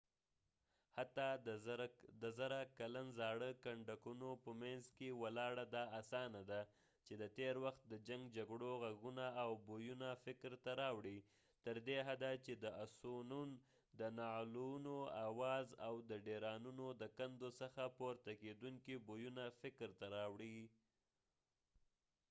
حتی د زره کلن زاړه کنډکونو په مینځ کې ولاړ دا اسانه ده چې د تېر وخت د جنګ جګړو غږونه او بویونه فکر ته راوړو تر دې حده چې د اسونون د نعلونو آواز او د ډيرانونو د کندو څخه پورته کېدونکي بويونه فکر ته راوړو